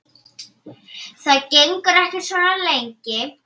Það gengur ekki svona lengi.